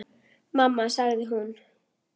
Mamma sagði hún.